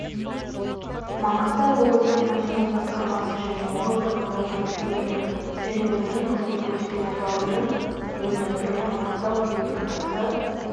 маңғыстау облыстық мәдениет басқармасы және облыстық ғылыми-әдістемелік және мәдени қызмет көрсету орталығының ұйымдастыруымен маңғыстау күйінің атасы